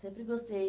Sempre gostei.